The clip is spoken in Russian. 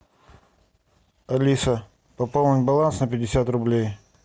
алиса пополнить баланс на пятьдесят рублей